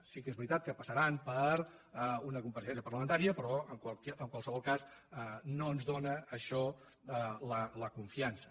sí que és veritat que pas·saran per una compareixença parlamentària però en qualsevol cas no ens dóna això la confiança